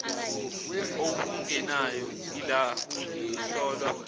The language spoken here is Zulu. okungenayo ilabuli ihlolwa